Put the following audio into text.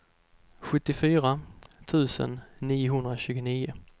sjuttiofyra tusen niohundratjugonio